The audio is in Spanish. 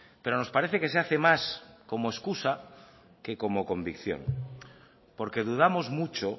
pero nos parece que se hace más como excusa que como convicción porque dudamos mucho